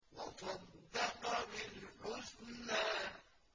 وَصَدَّقَ بِالْحُسْنَىٰ